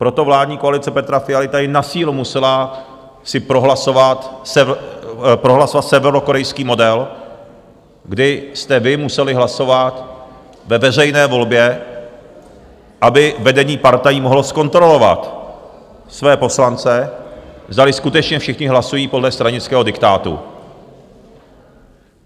Proto vládní koalice Petra Fialy tady na sílu musela si prohlasovat severokorejský model, kdy jste vy museli hlasovat ve veřejné volbě, aby vedení partají mohlo zkontrolovat své poslance, zdali skutečně všichni hlasují podle stranického diktátu.